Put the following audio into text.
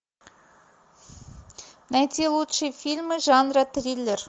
найти лучшие фильмы жанра триллер